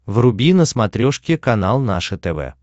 вруби на смотрешке канал наше тв